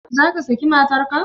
Zaka saki matar ka?